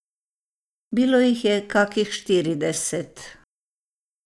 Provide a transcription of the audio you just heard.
Bilo jih je kakih štirideset.